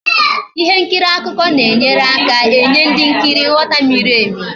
Ihe nkiri akụkọ na enyere aka enye ndị nkiri nghọta miri emi